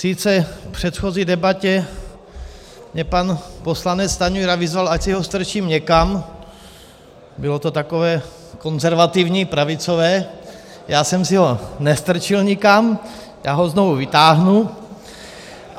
Sice v předchozí debatě mě pan poslanec Stanjura vyzval, ať si ho strčím někam, bylo to takové konzervativní pravicové, já jsem si ho nestrčil nikam, já ho znovu vytáhnu.